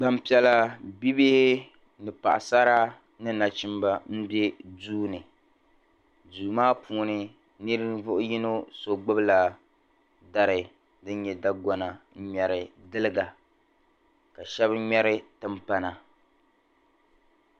Gbampiɛla bibihi paɣisara ni nachimba m-be duu ni. Duu maa puuni ninvuɣ' yino so gbibila dari din nyɛ da' gɔna n-ŋmɛri diliga ka shɛba ŋmɛri timpana.